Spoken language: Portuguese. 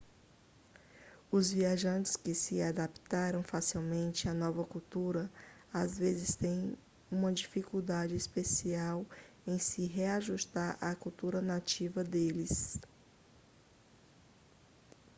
os viajantes que se adaptaram facilmente à nova cultura às vezes têm uma dificuldade especial em se reajustar à cultura nativa deles